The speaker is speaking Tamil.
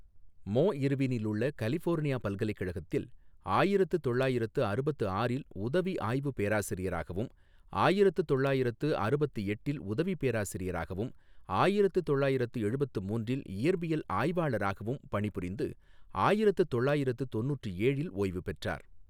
மோ இா்வினிலுள்ள கலிபோா்னியா பல்கலைகழகத்தில் ஆயிரத்து தொள்ளாயிரத்து அறுபத்து ஆறில் உதவி ஆய்வு பேராசிாியராகவும், ஆயிரத்து தொள்ளாயிரத்து அறுபத்து எட்டில் உதவி பேராசிாியராகவும், ஆயிரத்து தொள்ளாயிரத்து எழுபத்து மூன்றில் இயற்பியல் ஆய்வாளராகவும், பணிபுாிந்து ஆயிரத்து தொள்ளாயிரத்து தொண்ணுற்று ஏழில் ஓய்வு பெற்றாா்.